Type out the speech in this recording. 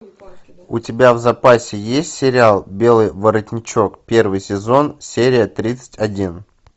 у тебя в запасе есть сериал белый воротничок первый сезон серия тридцать один